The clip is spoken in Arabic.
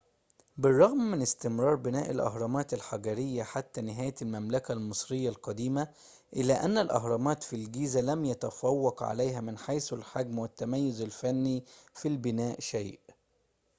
بالرغم من استمرار بناء الأهرامات الحجرية حتى نهاية المملكة المصرية القديمة إلا أن الأهرامات في الجيزة لم يتفوق عليها من حيث الحجم والتميز الفني في البناء شيء